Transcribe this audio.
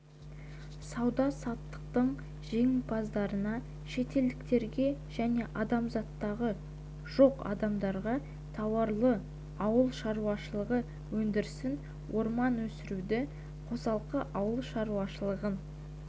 сауда-саттықтың жеңімпаздарына шетелдіктерге және азаматтығы жоқ адамдарға тауарлы ауыл шаруашылығы өндірісін орман өсіруді қосалқы ауыл шаруашылығын